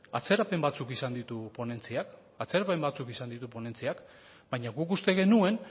atzerapen batzuk izan ditu ponentziak baina guk uste genuen